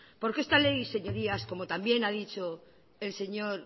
porque esta ley señorías como también ha dicho el señor